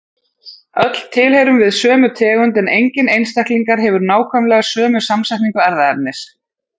Öll tilheyrum við sömu tegund en enginn einstaklingar hefur nákvæmlega sömu samsetningu erfðaefnis.